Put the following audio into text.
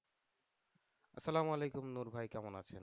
আসালাম ওয়ালাইকুম নূর ভাই, ভাই কেমন আছেন?